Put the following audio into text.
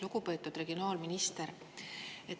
Lugupeetud regionaalminister!